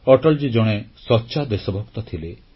ଅଟଲଜୀ ଜଣେ ସଚ୍ଚା ଦେଶଭକ୍ତ ଥିଲେ